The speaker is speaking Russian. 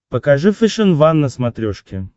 покажи фэшен ван на смотрешке